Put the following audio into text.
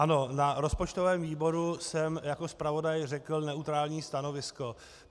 Ano, na rozpočtovém výboru jsem jako zpravodaj řekl neutrální stanovisko.